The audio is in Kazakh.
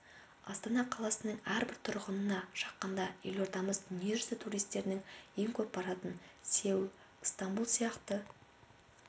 астана қаласының әрбір тұрғынына шаққанда елордамыз дүние жүзі туристерінің ең көп баратын сеул ыстанбұл сияқты